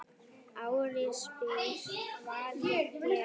Ari spyr hvað ég geri.